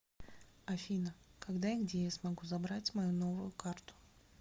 афина когда и где я смогу забрать мою новую карту